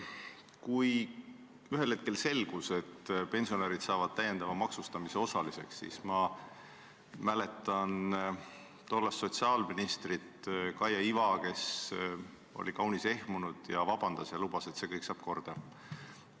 Kui ühel hetkel selgus, et pensionärid saavad täiendava maksustamise osaliseks, siis ma mäletan, et tollane sotsiaalminister Kaia Iva oli kaunis ehmunud, palus vabandust ja lubas, et kõik saab korda.